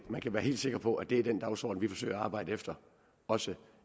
man kan være helt sikker på at det er den dagsorden vi forsøger at arbejde efter også